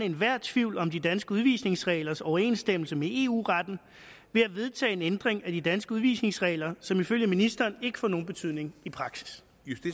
enhver tvivl om de danske udvisningsreglers overensstemmelse med eu retten ved at vedtage en ændring af de danske udvisningsregler som ifølge ministeren ikke får nogen betydning i praksis